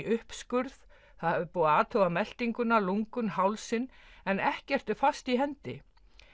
uppskurð það er búið að athuga meltinguna lungun hálsinn en ekkert er fast í hendi